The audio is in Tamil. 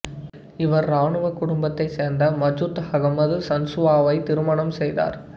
இவர் இராணுவ குடும்பத்தைச் சேர்ந்த மசூத் அகமது சன்சுவாவை திருமணாம் செய்தார்